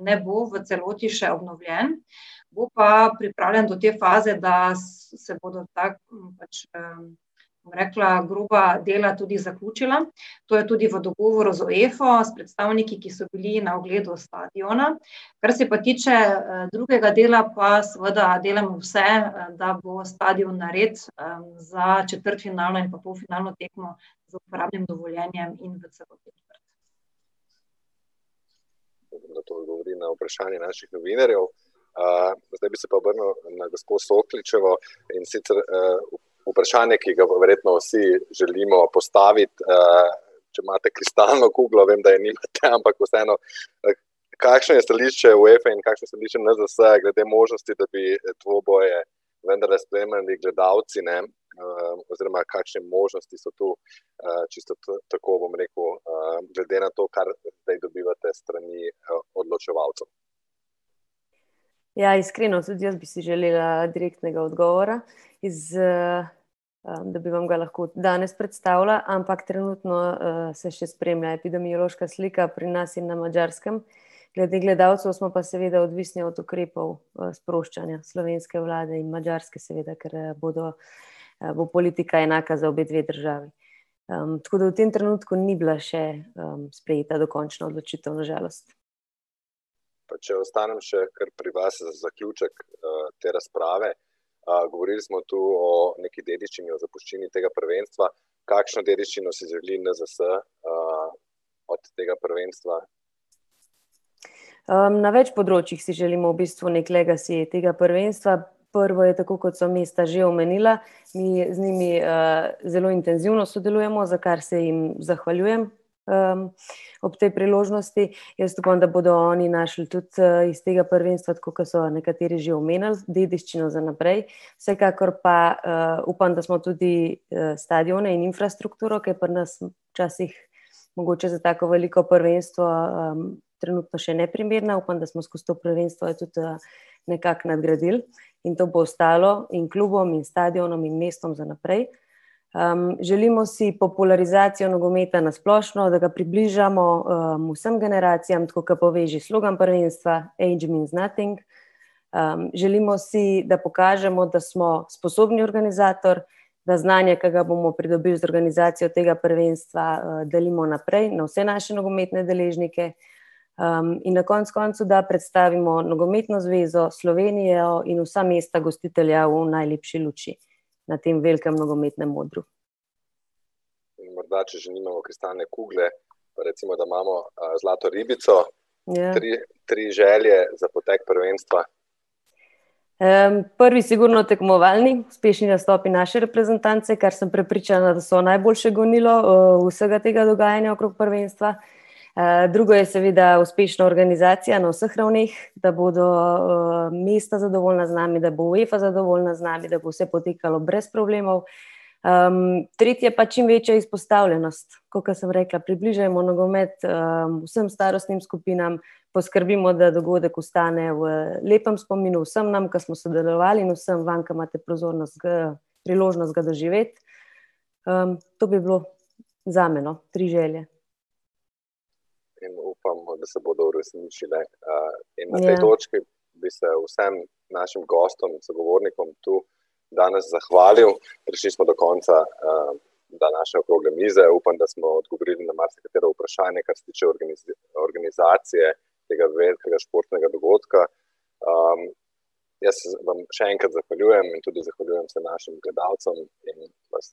ne bo v celoti še obnovljen, bo pa pripravljen do te faze, da se bodo ta pač, bom rekla, groba dela tudi zaključila. To je tudi v dogovoru z UEFO, s predstavniki, ki so bili na ogledu stadiona. Kar se pa tiče, drugega dela pa seveda delamo vse, da bo stadion nared, za četrtfinalno in pa polfinalno tekmo z uporabnim dovoljenjem in predvsem . to odgovoril na vprašanje naših novinarjev. zdaj bi se pa obrnil na gospo Sokličevo, in sicer, vprašanje, ki ga bo verjetno vsi želimo postaviti, če imate kristalno kroglo, vem, da je nimate, ampak vseeno, kakšno je stališče UEFE in kakšna so stališča NZS-ja glede možnosti, da bi dvoboje vendarle spremljali gledalci, ne, oziroma kakšne možnosti so tu, čisto tako bom rekel, glede na to, kar zdaj dobivate s strani, odločevalcev? Ja, iskreno, tudi jaz bi si želela direktnega odgovora iz, ... da bi vam ga lahko danes predstavila, ampak trenutno, se še spremljata epidemiološka slika pri nas in na Madžarskem. Glede gledalcev smo pa seveda odvisni od ukrepov, sproščanja slovenske vlade in madžarske seveda, ker, bodo, bo politika enaka za obe dve državi. tako da v tem trenutku ni bila še sprejeta dokončna odločitev, na žalost. Pa če ostanem še kar pri vas za zaključek, te razprave. govorili smo tu o nekaj dediščini, o zapuščini tega prvenstva, kakšno dediščino si želi NZS, od tega prvenstva? na več področjih si želimo v bistvu neki legacy tega prvenstva. Prvo, tako kot sem isto že omenila, mi z njimi, zelo intenzivno sodelujemo, za kar se jim zahvaljujem, ob tej priložnosti, jaz upam, da bodo oni našli tudi, iz tega prvenstva, tako kot so nekateri že omenili, dediščino za naprej, vsekakor pa, upam, da smo tudi, stadione, infrastrukturo, ki je pri nas včasih mogoče za tako veliko prvenstvo, trenutno še neprimerna, upam, da smo skozi to prvenstvo tudi, nekako nadgradili. In to bo ostalo in klubom in stadionom in mestom za naprej. želimo si popularizacijo nogometa na splošno, da približamo, vsem generacijam, tako kot pove že slogan prvenstva: age means nothing. želimo si, da pokažemo, da smo sposobni organizator, da znanje, ke ga bomo pridobili z organizacijo tega prvenstva, delimo naprej, na vse naše nogometne deležnike, in na koncu koncev, da predstavimo Nogometno zvezo, Slovenijo in vsa mesta gostitelja v najlepši luči na tem velikem nogometnem odru. In morda, če že nimamo kristalne kugle, recimo, da imamo, zlato ribico, tri, tri želje za potek prvenstva? prvi sigurno tekmovalni, uspešni nastopi naše reprezentance, kar sem prepričana, da so najboljše gonilo, vsega tega dogajanja okrog prvenstva, drugo je seveda uspešna organizacija na vseh ravneh, da bodo, mesta zadovoljna z nami, da bo UEFA zadovoljna z nami, da bo vse potekalo brez problemov, tretje pa čim večja izpostavljenost. Tako ke sem rekla: približajmo nogomet, vsem starostnim skupinam, poskrbimo, da dogodek ostane v lepem spominu vsem nam, ke smo sodelovali, in vsem vam, ke imate pozornost ke, priložnost ga doživeti. to bi bilo zame, no. Tri želje. In upamo, da se bodo uresničile. potem na te točki bi se vsem našim gostom in sogovornikom tu danes zahvalil, prišli smo do konca, današnje okrogle mize, upam, da smo odgovorili na marsikatero vprašanje, kar se tiče organizacije tega velikega športnega dogodka. jaz se vam še enkrat zahvaljujem in tudi zahvaljujem se našim gledalcem in vas ...